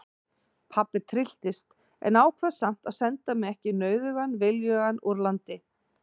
Pabbi trylltist en ákvað samt að senda mig ekki nauðugan viljugan úr landi.